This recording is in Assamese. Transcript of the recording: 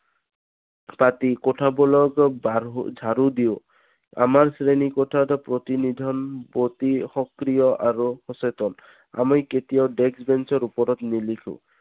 পাতি কথা জাৰো দিওঁ আমাৰ শ্ৰেণী কোঠাত প্ৰতিনিধন প্ৰতি সক্ৰিয় আৰু সচেতন আমি কেতিয়াও desk bench ৰ ওপৰত নিলিখোঁ